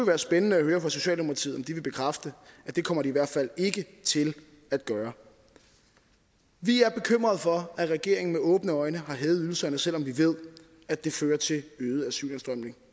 være spændende at høre fra socialdemokratiet om de vil bekræfte at det kommer de i hvert fald ikke til at gøre vi er bekymrede for at regeringen med åbne øjne har hævet ydelserne selv om vi ved at det fører til øget asylindstrømning